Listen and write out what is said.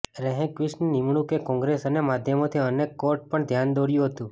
રેહંક્વિસ્ટની નિમણૂકએ કોંગ્રેસ અને માધ્યમોથી અને કોર્ટને પણ ધ્યાન દોર્યું હતું